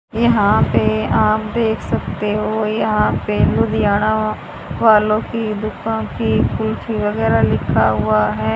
यहां पे आप देख सकते हो यहां पे लुधियाना वालों की बुका की कुल्फी वगैरा लिखा हुआ है।